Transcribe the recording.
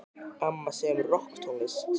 Amma semur rokktónlist.